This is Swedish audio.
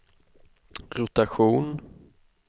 rotation